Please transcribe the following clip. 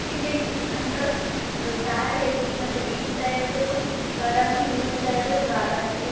ಇಲ್ಲಿ ನಡ್ಬರ್ಕ್ ಅಹ್ ದಾರಿ ಐತಿ. ಮತ್ತೆ ಈ ಸೈಡು ಗಾರ್ಡನು ಈ ಸೈಡು ಗಾರ್ಡನ್ ಇದೆ.